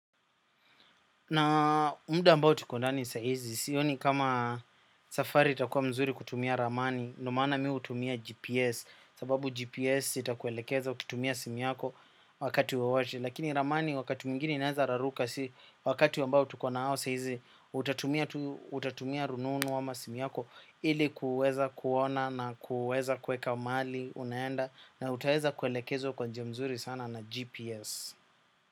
Na muda ambao tuko ndani saa hizi, sioni kama safari itakuwa nzuri kutumia ramani, ndiyo maana mimi hutumia GPS, sababu GPS itakuelekeza kutumia simu yako wakati wowote. Lakini ramani wakati mwigine inaweza raruka, si wakati wambao tuko nao saa hizi, utatumia rununu ama simu yako ili kuweza kuona na kuweza kuweka mahali unaenda, na utaweza kuelekezwa kwa njia nzuri sana na GPS.